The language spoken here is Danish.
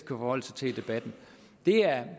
forholde sig til i debatten er